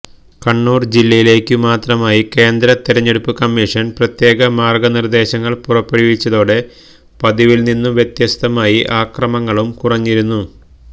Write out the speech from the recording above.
കണ്ണൂര് ജില്ലയിലേക്കു മാത്രമായി കേന്ദ്ര തെരഞ്ഞെടുപ്പ് കമ്മിഷന് പ്രത്യേക മാര്ഗനിര്ദേശങ്ങള് പുറപ്പെടുവിച്ചതോടെ പതിവില് നിന്നു വ്യത്യസ്തമായി അക്രമങ്ങളും കുറഞ്ഞിരുന്നു